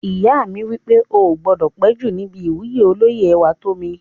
Ìyá mi wí pé "o gbọdọ̀ péjú níbi ìwúyè olóyè Ẹwàtómi!"